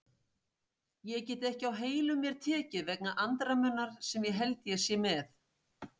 Ég get ekki á heilum mér tekið vegna andremmunnar sem ég held ég sé með.